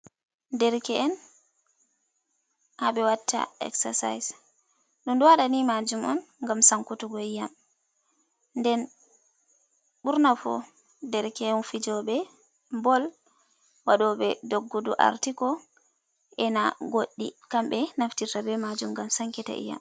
"Derke’en" ha ɓe watta essasais ɗum ɗo waɗa ni majum on ngam sankutugo iyam nden ɓurna fu derke’en fijoɓe bool, waɗoɓe doggudu artiko, ena goɗɗi kambe naftirta be majum ngam sankita iyam.